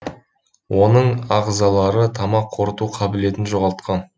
оның ағзалары тамақ қорыту қабылетін жоғалтқан